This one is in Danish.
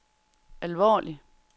alvorligt